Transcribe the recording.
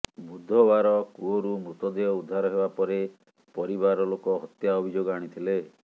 ବୁଧବାର କୂଅରୁ ମୃତଦେହ ଉଦ୍ଧାର ହେବାପରେ ପରିବାର ଲୋକ ହତ୍ୟା ଅଭିଯୋଗ ଆଣିଥିଲେ